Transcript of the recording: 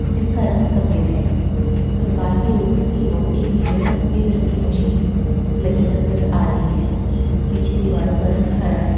जिस का रंग सफ़ेद है। कंकाल के ऊपर की और एक नीले वे सफ़ेद संग की मशीन लगी नजर आ रही है। पीछे दीवारों का रंग हरा है।